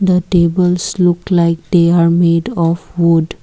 the tables look like they are made of wood.